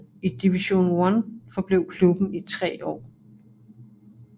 I Division One forblev klubben i tre år